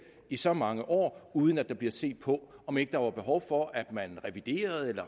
i så mange år uden at der bliver set på om ikke der er behov for at man reviderer eller